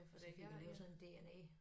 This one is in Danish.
Ja for det jo sådan en dna